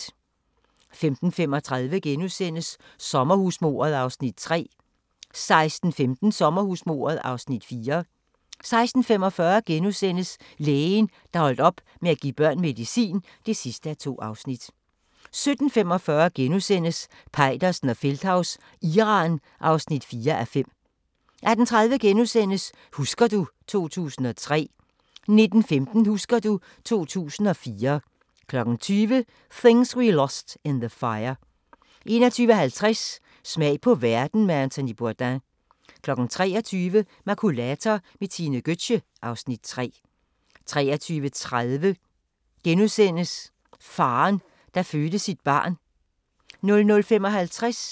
15:35: Sommerhusmordet (Afs. 3)* 16:15: Sommerhusmordet (Afs. 4) 16:45: Lægen, der holdt op med at give børn medicin (2:2)* 17:45: Peitersen og Feldthaus – Iran (4:5)* 18:30: Husker du ... 2003 * 19:15: Husker du ... 2004 20:00: Things We Lost in the Fire 21:50: Smag på verden med Anthony Bourdain 23:00: Makulator med Tine Gøtzsche (Afs. 3) 23:30: Faren, der fødte sit barn *